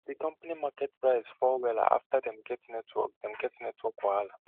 di company market price fall wella after dem get network dem get network wahala